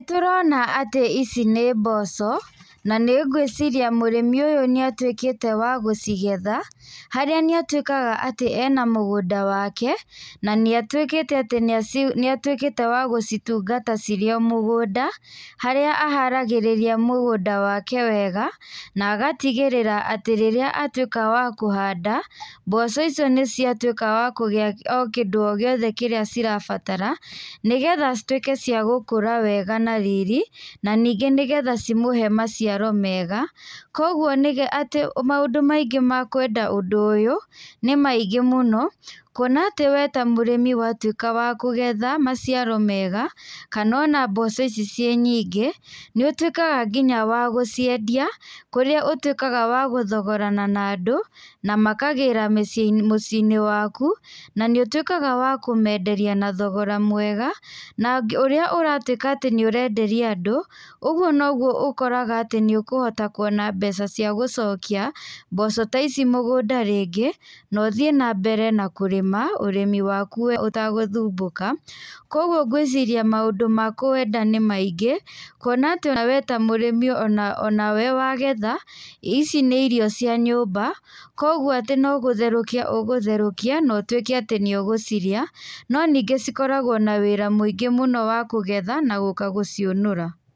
Nĩ tũrona atĩ ici nĩ mboco na nĩ gwĩciria mũrĩmi ũyũ nĩatuĩkĩte wa gũcigetha, harĩa nĩatuĩkaga atĩ arĩ na mũgũnda wake, na nĩ atũikĩte wa gũcitungata cirĩ o mũgũnda, harĩa aharagĩrĩria mũgũnda wake wega, na agatigĩrĩra atĩ rĩrĩa atuĩka wa kũhanda, mboco icio nĩciatuĩka cia kũgĩa o kĩndũ guothe kĩrĩa cirabatara, nĩgetha cituĩke cia gũkũra wega na riri, na ningĩ nĩgetha cimũhe maciaro mega. Koguo atĩ maũndũ maingĩ ma kwenda ũndũ ũyũ, nĩ maingĩ muno, kuona wee ta mũrimi watuĩka wa kũgetha maciaro mega, kana ona mboco ici citĩ nyingĩ, nĩ ũtuĩkaga nginya wa guciendia kũrĩa ũtuĩkaga wa gũthogorana na andũ, na makagĩra mũciĩ-inĩ waku, na nĩ ũtuĩkaga wa kũmenderia na thogora mwega, na ũrĩa ũratuĩka atĩ nĩ ũrenderia andũ, ũguo noguo ũkoraga nĩũkũhota kuona mbeca cia gũcokia mboco ta ici mũgũnda rĩngĩ no thiĩ na mbere na kũrĩma, ũrĩmi waku we ũtaguthumbuka. Koguo gwiciria maũndũ ma kwenda nĩ maingĩ, kuona wee wĩ ta mũrimĩ onawe wa metha ici nĩ irio cia nyũmba, koguo no gũtherũkia ũgũtherũkia, na ũtuĩke atĩ nĩ ũgũcirĩa. No ningĩ cikoragwo na wĩra mũingi mũno wa kũgetha na gũka gũciũnũra.